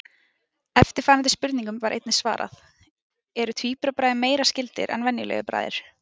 Eftirfarandi spurningum var einnig svarað: Eru tvíburabræður meira skyldir en venjulegir bræður?